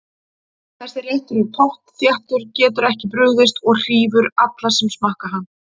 Þessi réttur er pottþéttur, getur ekki brugðist og hrífur alla sem smakka hann.